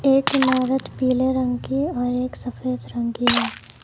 एक इमारत पीले रंग की और एक सफेदरंग की है।